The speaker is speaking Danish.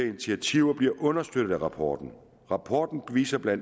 initiativer bliver understøttet af rapporten rapporten viser bla